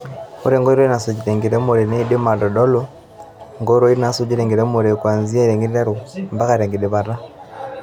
Ore enkoitoi nasuji tenkiremore neidim aitodolu nkoitoii nasujii tenkiremore kwanzia tenkiteruu mpaka enkidipat.